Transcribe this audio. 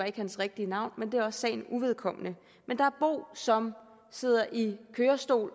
ikke hans rigtige navn men det er også sagen uvedkommende og som sidder i kørestol